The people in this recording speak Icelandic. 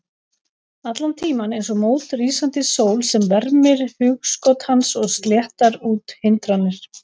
Allan tímann eins og mót rísandi sól sem vermir hugskot hans og sléttar út hindranir.